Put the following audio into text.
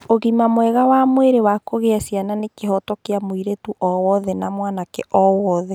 Ũgima mwega wa mwĩrĩ wa kũgĩa ciana nĩ kĩhooto kĩa mũirĩtu o wothe na mwanake o wothe.